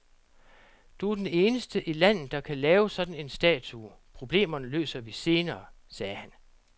Du er den eneste i landet, der kan lave sådan en statue, problemerne løser vi senere, sagde han.